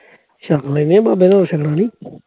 ਛਕ ਲੈਣਗੇ ਬਾਬੇ ਕੋਲੋਂ, ਛਕਣ ਲਈ